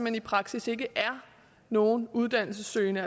i praksis ikke er nogen uddannelsessøgende